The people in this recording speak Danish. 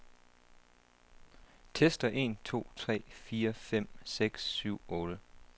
Tester en to tre fire fem seks syv otte.